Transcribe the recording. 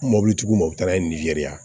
Mobili tigiw mɔ u bɛ taa n'a ye nizeriya